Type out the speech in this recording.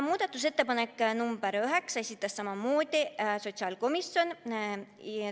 Muudatusettepanek nr 9, esitas samamoodi sotsiaalkomisjon.